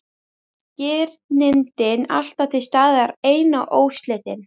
Girndin alltaf til staðar ein og óslitin.